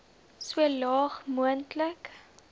so laag moontlik